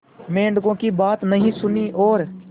मेंढकों की बात नहीं सुनी और